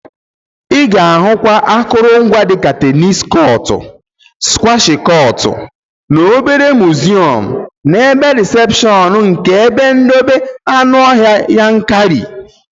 Ị ga-ahụkwa akụrụngwa dika teenis kọtụ, skwash kọtụ na obere miziọm n'ebe rịsepshọn nke ebe ndobe anụọhịa Yankari